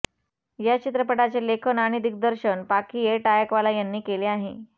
या चित्रपटाचे लेखन आणि दिग्दर्शन पाखी ए टायकवाला यांनी केले आहे